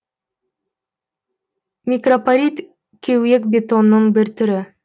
микропорит кеуек бетонның бір түрі